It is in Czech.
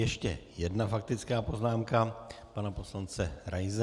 Ještě jedna faktická poznámka pana poslance Raise.